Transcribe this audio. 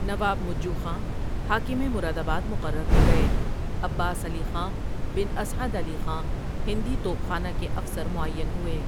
نواب مجو خاں حاکم مرادآباد مقرر ہو گئے عباس علی خاں بن اسعد علی خاں ہندی توپ خانہ کے افسر معیّن ہوئے ۔